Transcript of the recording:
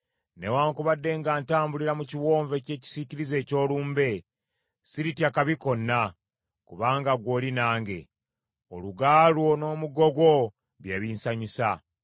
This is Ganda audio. Newaakubadde nga ntambulira mu kiwonvu eky’ekisiikirize eky’olumbe, siritya kabi konna; kubanga ggwe oli nange. Oluga lwo n’omuggo gwo bye binsanyusa.